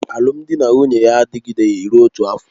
Alụmdi na nwunye ya adịgideghị rụọ otu afọ